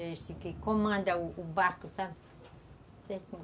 Esse que comanda o o barco, sabe?